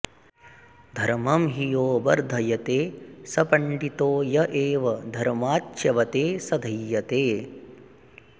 धर्मं हि यो बर्धयते स पण़्डितो य एव धर्माच्च्यवते स दह्यते